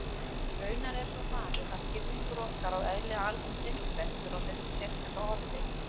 Raunar er svo farið að skilningur okkar á eðli alheimsins veltur á þessu sérstaka orði.